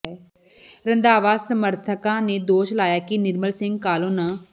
ਰੰਧਾਵਾ ਸਮਰਥਕਾਂ ਨੇ ਦੋਸ਼ ਲਾਇਆ ਕੇ ਨਿਰਮਲ ਸਿੰਘ ਕਾਹਲੋਂ ਨ